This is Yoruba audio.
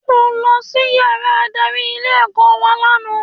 Mo lọ sí yàrá adarí ilé ẹ̀kọ́ wa lànà